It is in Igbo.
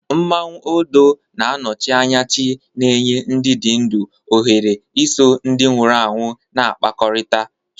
Mmanwu Odo na-anọchi anya chi na-enye ndị dị ndụ ohere iso ndị nwụrụ anwụ na-akpakọrịta